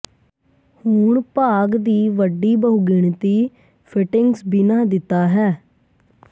ਹੁਣ ਭਾਗ ਦੀ ਵੱਡੀ ਬਹੁਗਿਣਤੀ ਫਿਟਿੰਗਸ ਬਿਨਾ ਦਿੱਤਾ ਹੈ